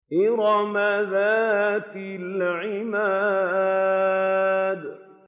إِرَمَ ذَاتِ الْعِمَادِ